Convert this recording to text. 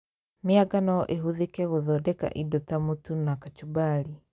Mĩanga no ĩhũthĩke gũthondeka indo ta mũtu na kacumbari